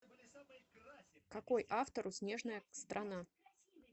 какой автор у снежная страна